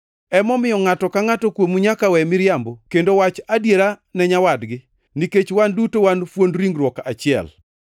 Emomiyo, ngʼato ka ngʼato kuomu nyaka we miriambo duto kendo wach adiera ne nyawadgi, nikech wan duto wan fuond ringruok achiel.